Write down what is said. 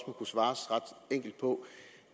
kunne svares ret enkelt på